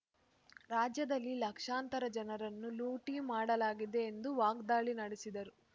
ರಾಜ್ಯದಲ್ಲಿ ಲಕ್ಷಾಂತರ ಜನರನ್ನು ಲೂಟಿ ಮಾಡಲಾಗಿದೆ ಎಂದು ವಾಗ್ದಾಳಿ ನಡೆಸಿದರು